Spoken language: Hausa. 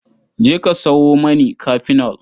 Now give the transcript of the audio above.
Je ka sawo mani kafenol.